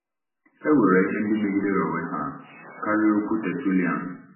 E nwere ihe ndị megidere onwe ha karịa okwu Tertullian.